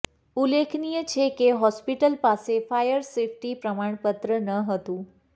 ઉલ્લેખનીય છે કે હોસ્પિટલ પાસે ફાયર સેફટી પ્રમાણપત્ર ન હતું